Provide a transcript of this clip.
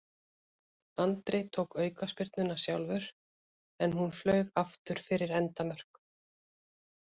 Andri tók aukaspyrnuna sjálfur en hún flaug aftur fyrir endamörk.